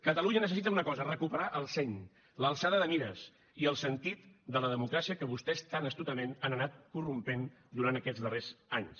catalunya necessita una cosa recuperar el seny l’alçada de mires i el sentit de la democràcia que vostès tan astutament han anat corrompent durant aquests darrers anys